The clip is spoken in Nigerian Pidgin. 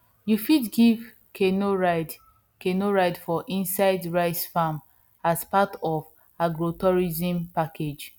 you fit give canoe ride canoe ride for inside rice farm as part of agrotourism package